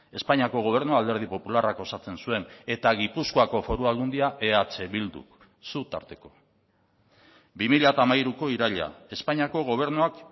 espainiako gobernua alderdi popularrak osatzen zuen eta gipuzkoako foru aldundia eh bilduk zu tarteko bi mila hamairuko iraila espainiako gobernuak